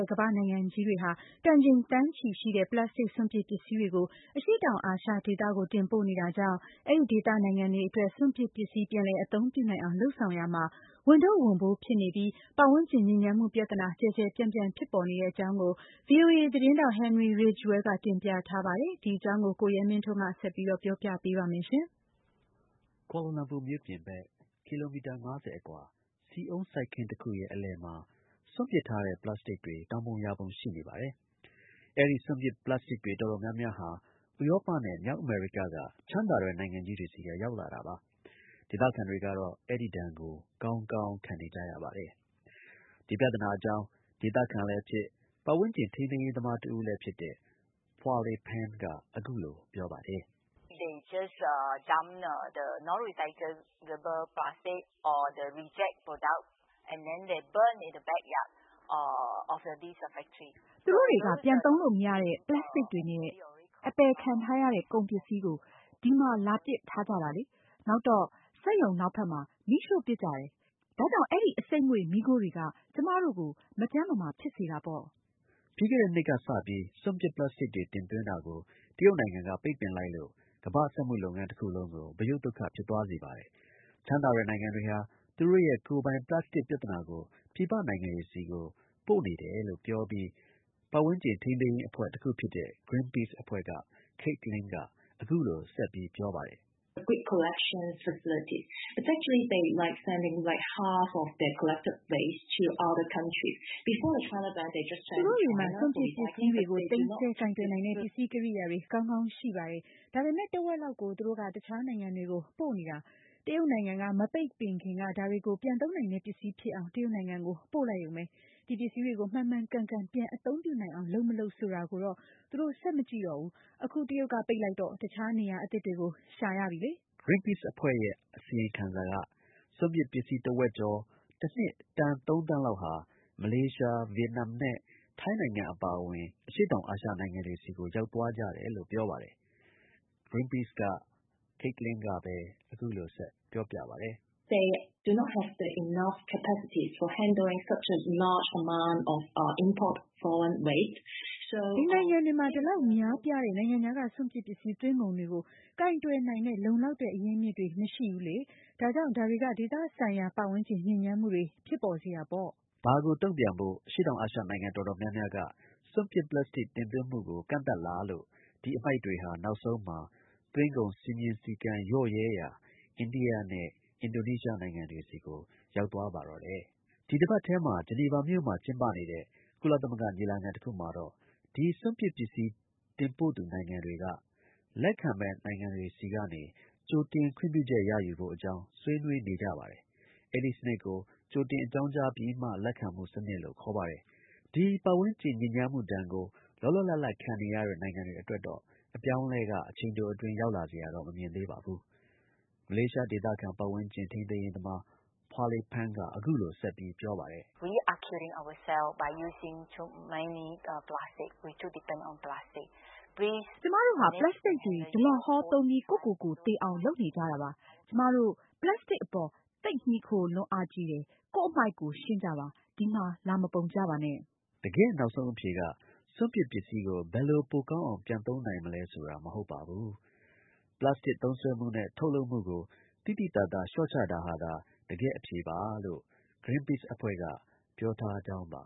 ဲ့ ကမ္ဘာ့နိုင်ငံကြီးတွေဟာ တန်ချိန် သန်းချီရှိတဲ့ ပလပ်စတစ်စွန့်ပစ် ပစ္စည်းတွေကို အရှေ့တောင် အာရှဒေသကို တင်ပို့နေတာကြောင့် အဲဒီဒေသ နိုင်ငံတွေအတွက် စွန့်ပစ် ပစ္စည်း ပြန်လည် အသုံးပြုနိုင်အောင် လုပ်ဆောင်ရာမှာ ဝန်ထုပ်ဝန်ပိုး ဖြစ်နေပြီး ပတ်ဝန်းကျင် ညစ်ညမ်းမှု ပြဿနာ ကျယ်ကျယ် ပြန့်ပြန့် ဖြစ်ပေါ်နေတဲ့အကြောင်းကို VOA သတင်းထောက် Henery Ridgwell ကတင်ပြထားပါတယ်။ ကိုရဲမင်းထွန်းက ဆက်ပြောပြပါလိမ့်မယ်။ ကွာလာလမ်ပူမြို့ပြင်ဘက် ကီလိုမီတာ ၅၀ အကွာ ဆီအုန်း စိုက်ခင်းတစ်ခုရဲ့ အလယ်မှာ စွန့်ပစ်ထားတဲ့ ပလပ်စတစ်တွေ တောင်ပုံ ရာပုံ ရှိနေပါတယ်။ အဲဒီ စွန့်ပစ်ပလပ်စတစ်တွေ တော်တော် များများဟာ ဥရောပနဲ့ မြောက် အမေရိက က ချမ်းသာတဲ့ နိုင်ငံကြီးတွေဆီက ရောက်လာတာပါ။ ဒေသခံတွေကတော့ အဲဒီဒဏ်ကို ကောင်းကောင်း ခံနေကြရပါတယ်။ ဒီ ပြသနာ အကြောင်း ဒေသခံလည်းဖြစ်၊ ပတ်ဝန်းကျင် ထိန်းသိမ်းရေးသမားတစ်ဦလည်းဖြစ်တဲ့ Pua Lay Peng က အခုလို ပြောပါတယ်။ “သူတို့တွေက ပြန် သုံးလို့ မရတဲ့ ပလပ်စတစ်တွေနဲ့ အပယ်ခံထားရတဲ့ ကုန် ပစ္စည်းကို ဒီမှာ လာပစ်ထားကြတာလေ။ နောက်တော့ စက်ရုံနောက်ဘက်မှာ မီးရှို့ပစ်ကြတယ်။ ဒါကြောင့် အဲဒီ အဆိပ်ငွေ့ မီးခိုးတွေက ကျွန်မတို့ကို မကျန်းမမာဖြစ်စေတာပေါ့။” ပြီးခဲ့တဲ့ နှစ်ကစပြီး စွန့်ပစ် ပလပ်စတစ်တွေ တင်သွင်းတာကို တရုတ်နိုင်ငံက ပိတ်ပင်လိုက်လို့ ကမ္ဘာ စက်မှုလုပ်ငန်း တစ်ခုလုံးကို ဗရုတ်သုတ်ခ ဖြစ်သွားစေပါတယ်။ ချမ်းသာတဲ့ နိုင်ငံတွေဟာ သူတို့ရဲ့ ကိုယ်ပိုင်ပလပ်စတစ် ပြဿနာကို ပြည်ပနိုင်ငံတွေကို တင်ပို့ နေတယ်လို့ ပြောပြီး ပတ်ဝန်းကျင် ထိန်းသိမ်းရေးအဖွဲ့ တစ်ခုဖြစ်တဲ့ ဂရင်းပိစ် အဖွဲ့က Kate Lin က အခုလို ဆက်ပြောပါတယ်။ “သူတို့တွေမှာ စွန့်ပစ် ပစ္စည်းတွေကို သိမ်းဆည်း ကိုင်တွယ်နိုင်တဲ့ ပစ္စည်း ကိရိယာတွေ ကောင်းကောင်း ရှိပါတယ်။ ဒါပေမဲ့ တစ်ဝက်လောက်ကို သူတို့က တစ်ခြားနိုင်ငံတွေကို ပို့နေတယ်။ တရုတ်နိုင်ငံက မပိတ်ပင်ခင်က ဒါတွေကို ပြန်သုံးနိုင်တဲ့ပစ္စည်းဖြစ်အောင် တရုတ်နိုင်ငံကို ပို့လိုက်ရုံပဲ။ ဒီ ပစ္စည်းတွေကို မှန်မှန်ကန်ကန် ပြန် အသုံးပြုနိုင်အောင် လုပ် - မလုပ် ဆိုတာကိုတော့ သူတို့ ဆက် မကြည့်ကြတော့ဘူး။ အခု တရုတ်က ပိတ်လိုက်တော့ တစ်ခြား နေရာသစ်တွေကို ရှာကြပြီပေါ့။” ဂရင်းပိစ် အဖွဲ့ရဲ့ အစီရင်ခံစာက စွန့်ပစ် ပစ္စည်း တစ်ဝက်ကျော် တစ်နှစ် တန် ၃ သန်း လောက်ဟာ မလေးရှား၊ ဗီယက်နမ်နဲ့ ထိုင်းနိုင်ငံ အပါအဝင် အရှေ့တောင် အာရှနိုင်ငံတွေဆီကို ရောက်သွား ကြတယ် လို့ ပြောပါတယ်။ ဂရင်းပိစ်က Late Lin က အခုလို ဆက်ပြောပါတယ်။ “ဒီ နိုင်ငံတွေမှာ ဒီ လောက် များပြားတဲ့ နိုင်ငံခြားက စွန့်ပစ် ပစ္စည်း သွင်းကုန်တွေကို ကိုင်တွယ်နိုင်တဲ့ လုံလောက်တဲ့ အရင်းအမြစ်တွေ မရှိဘူးလေ။ ဒါကြောင့် ဒါတွေက ဒေသဆိုင်ရာ ပတ်ဝန်းကျင် ညစ်ညမ်းမှုတွေ ဖြစ်ပေါ်စေတာပေါ့။” ဒါကို တုံ့ပြန်ဖို့ အရှေ့တောင်အာရှ နှိုင်ငံတော်တော်များများက စွန့်ပစ် ပလပ်စတစ် တင်သွင်းမှုကို ကန့်သတ်လာလို့ဒီ အမှိုက်တွေဟာ နောက်ဆုံးမှာ သွင်းကုန် စည်းမျဉ်း စည်းကမ်း လျော့နေတဲ့ အိန္ဒိယနဲ့ အင်ဒိုနီးရှားနိုင်ငံတွေဆီကို ရောက်သွားပါတော့တယ်။ ဒီတစ်ပတ်ထဲမှာ ဂျီနီဗာမှာ ကျင်းပနေတဲ့ ကုလသမဂ္ဂ ညီလာခံ တစ်ခုမှာတော့ ဒီ စွန့်ပစ် ပစ္စည်း တင်ပို့သူနိုင်ငံတွေက လက်ခံမယ့် နိုင်ငံတွေဆီက ကြိုတင် ခွင့်ပြုချက် ရယူဖို့ အကြောင်း ဆွေးနွေးနေကြပါတယ်။ အဲဒီ စနစ်ကို ကြိုတင် အကြောင်းကြားပြီးမှ လက်ခံမှု စနစ်လို့ ခေါ်ပါတယ်။ ဒီ ပတ်ဝန်းကျင် ဒဏ်ကို လောလောလတ်လတ် ခံနေရတဲ့ နိင်ငံတွေအတွက်တော့ အပြောင်းအလဲက အချိန်တို အတွင်း ရောက်လာစရာတော့ မမြင်သေးပါဘူး။ မလေးရှား ဒေသခံ ပတ်ဝန်းကျင် ထိန်းသိမ်းရေးသမား Pua Lay Peng က အခုလို ဆက်ပြီး ပြောပါတယ်။ “ကျွန်မတို့ဟာ ပလတ်စတစ်တွေ ဒလဟော သုံးပြီး ကိုယ့်ကိုယ်ကို သေအောင် လုပ်နေကြတာပါ။ ကျွန်မတို့ ပလတ်စတစ်အပေါ် သိပ် မှီခိုလွန်းအားကြီးတယ်။ ကိုယ့် အမှိုက် ကိုယ် ရှင်းကြပါ။ ဒီမှာ လာ မပုံကြပါနဲ့။” တကယ့် နောက်ဆုံး အဖြေက စွန့်ပစ် ပစ္စည်းကို ဘယ်လို ပိုကောင်းအောင် ပြန်သုံးနိုင်မလဲဆိုတာ မဟုတ်ပါဘူး။ ပလတ်စတစ် သုံးစွဲမှုနဲ့ ထုတ်လုပ်မှုကို သိသိသာသာ လျှော့ချတာဟာသာ တကယ့် အဖြေပါလို့ ဂရင်းပိစ် အဖွဲ့က ပြောထားကြောင်းပါ